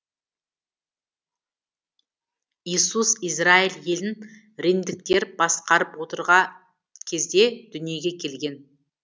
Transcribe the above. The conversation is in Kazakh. иисус израиль елін римдіктер басқарып отырға кезде дүниеге келген